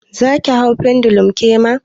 Zaki hau pendulum kema?